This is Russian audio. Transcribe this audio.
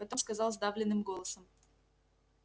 потом сказал сдавленным голосом